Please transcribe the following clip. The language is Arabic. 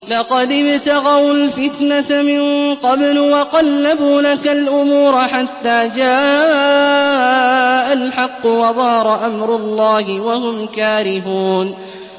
لَقَدِ ابْتَغَوُا الْفِتْنَةَ مِن قَبْلُ وَقَلَّبُوا لَكَ الْأُمُورَ حَتَّىٰ جَاءَ الْحَقُّ وَظَهَرَ أَمْرُ اللَّهِ وَهُمْ كَارِهُونَ